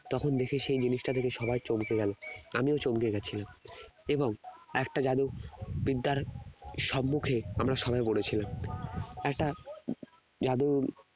তখন বিশেষ সেই জিনিটা দেখে সবাই চমকে গেল আমিও চমকে গেছিলাম এবং একটা জাদু বিদ্যার সম্মুখে আমরা পড়ে ছিলাম একটা উম উম জাদু